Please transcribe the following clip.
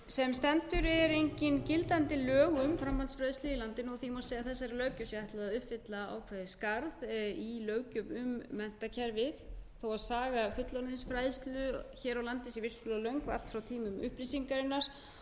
má segja að þessari löggjöf sé ætlað að uppfylla ákveðið skarð í löggjöf um menntakerfið þó að saga fullorðinsfræðslu hér á landi sé vissulega löng og allt frá tímum upplýsingarinnar